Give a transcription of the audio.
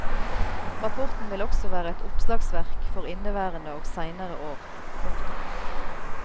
Rapporten vil også være et oppslagsverk for inneværende og seinere år. punktum